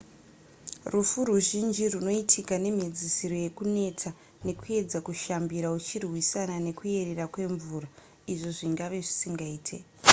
rufu ruzhinji rwunoitika nemhedzisiro yekuneta nekuedza kushambira uchirwisana nekuyerera kwemvura izvo zvingave zvisingaite